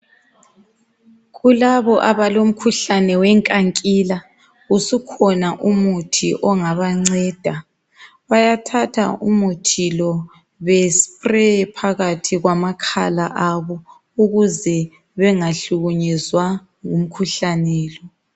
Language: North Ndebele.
Kulabo abalomkhuhlane weNkankila usukhona umuthi ongabanceda bayathatha umuthi lo bespraye phakathi kwamakhala abo ukuze bengahlukumezwa ngumkhuhlane lo